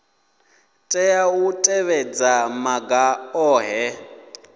tea u tevhedza maga ohe